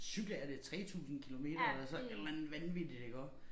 Cykle er det 3000 kilometer eller så et eller andet vanvittigt iggå